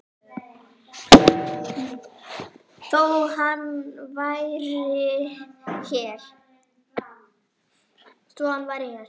Þó hann væri hér.